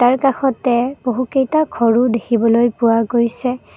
ইয়াৰ কাষতে বহুকেইটা ঘৰো দেখিবলৈ পোৱা গৈছে।